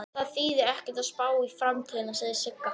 Það þýðir ekkert að spá í framtíðina, segir Sigga.